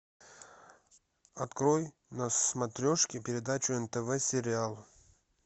открой на смотрешке передачу нтв сериал